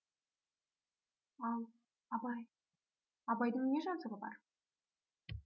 ал абай абайдың не жазығы бар